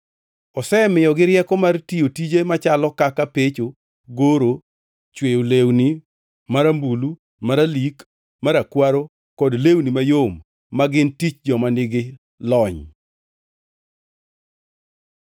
Osemiyogi rieko mar tiyo tije machalo kaka pecho, goro, chweyo lewni marambulu, maralik, marakwaro kod lewni mayom, ma gin tich joma nigi lony.